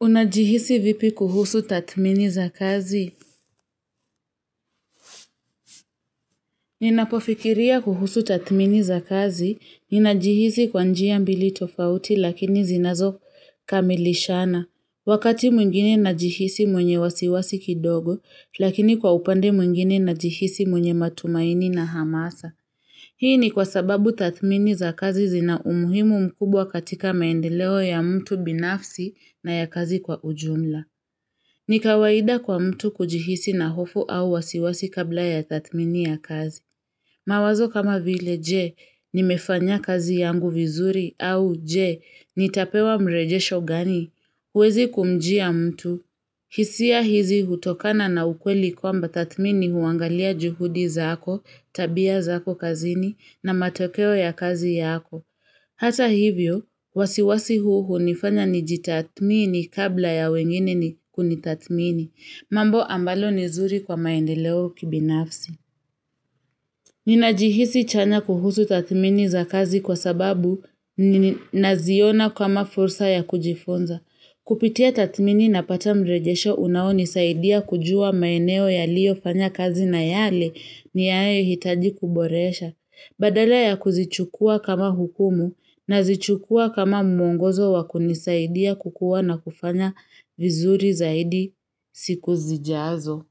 Unajihisi vipi kuhusu tathmini za kazi? Ninapofikiria kuhusu tathmini za kazi, ninajihisi kwa njia mbili tofauti lakini zinazokamilishana. Wakati mwingine najihisi mwenye wasiwasi kidogo, lakini kwa upande mwingine najihisi mwenye matumaini na hamasa. Hii ni kwa sababu tathmini za kazi zina umuhimu mkubwa katika maendeleo ya mtu binafsi na ya kazi kwa ujumla. Ni kawaida kwa mtu kujihisi na hofu au wasiwasi kabla ya tathmini ya kazi. Mawazo kama vile je, nimefanya kazi yangu vizuri au je, nitapewa mrejesho gani? Huwezi kumjia mtu, hisia hizi hutokana na ukweli kwamba tathmini huangalia juhudi zako, tabia zako kazini na matokeo ya kazi yako. Hata hivyo, wasiwasi huu hunifanya nijitathmini kabla ya wengine ni kunitathmini, mambo ambalo ni zuri kwa maendeleo kibinafsi. Ninajihisi chanya kuhusu tathmini za kazi kwa sababu naziona kama fursa ya kujifunza. Kupitia tathmini napata mrejesho unaonisaidia kujua maeneo yaliyofanya kazi na yale niyaehitaji kuboresha. Badala ya kuzichukua kama hukumu nazichukua kama mwongozo wa kunisaidia kukua na kufanya vizuri zaidi siku zijazo.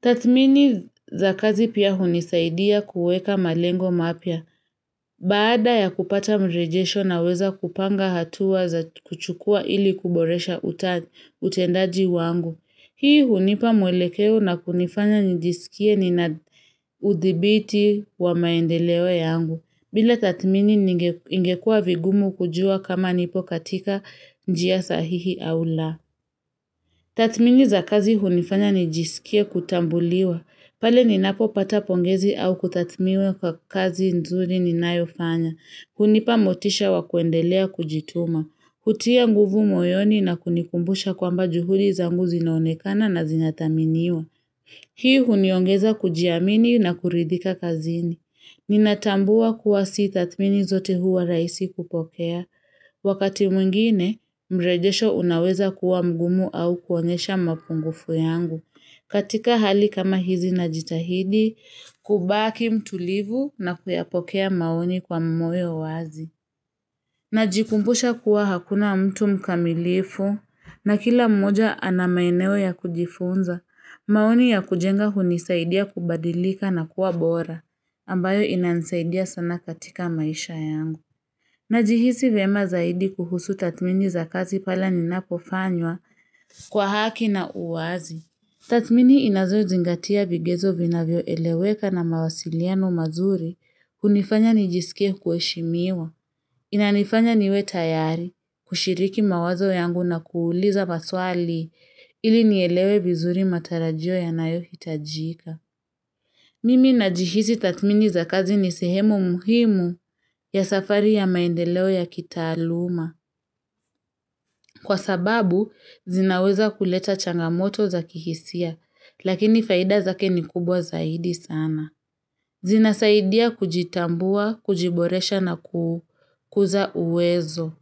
Tathmini za kazi pia hunisaidia kueka malengo mapya. Baada ya kupata mrejesho naweza kupanga hatua za kuchukua ili kuboresha utendaji wangu. Hii hunipa mwelekeo na kunifanya nijisikie nina udhibiti wa maendeleo yangu, bila tathmini ingekua vigumu kujua kama nipo katika njia sahihi au la. Tathmini za kazi hunifanya nijisikie kutambuliwa, pale ninapopata pongezi au kutathmiwa kwa kazi nzuri ninayofanya. Hunipa motisha wa kuendelea kujituma, kutia nguvu moyoni na kunikumbusha kwamba juhudi zangu zinaonekana na zinathaminiwa. Hii huniongeza kujiamini na kuridhika kazini. Ninatambua kuwa si tathmini zote huwa rahisi kupokea. Wakati mwingine, mrejesho unaweza kuwa mgumu au kuonyesha mapungufu yangu. Katika hali kama hizi najitahidi, kubaki mtulivu na kuyapokea maoni kwa moyo wazi. Najikumbusha kuwa hakuna mtu mkamilifu na kila mmoja ana maeneo ya kujifunza. Maoni ya kujenga hunisaidia kubadilika na kuwa bora ambayo inansaidia sana katika maisha yangu. Najihisi vyema zaidi kuhusu tathmini za kazi pale ninapofanywa kwa haki na uwazi. Tathmini inazozingatia vigezo vinavyoeleweka na mawasiliano mazuri hunifanya nijisikie kuheshimiwa. Inanifanya niwe tayari, kushiriki mawazo yangu na kuuliza maswali ili nielewe vizuri matarajio yanayohitajika. Mimi najihisi tathmini za kazi ni sehemu muhimu ya safari ya maendeleo ya kitaaluma. Kwa sababu, zinaweza kuleta changamoto za kihisia, lakini faida zake ni kubwa zaidi sana. Zinasaidia kujitambua, kujiboresha na kukuza uwezo.